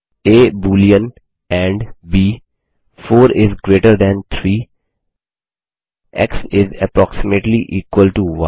uh boolean and b 4 is greater than 3 x is approximately equal to य